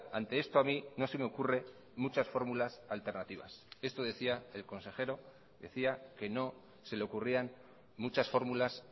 ante esto a mí no se me ocurre muchas fórmulas alternativas esto decía el consejero decía que no se le ocurrían muchas fórmulas